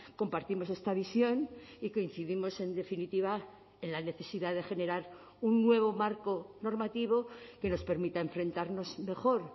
compartimos esta visión y coincidimos en definitiva en la necesidad de generar un nuevo marco normativo que nos permita enfrentarnos mejor